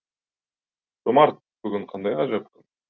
жомарт бүгін қандай ғажап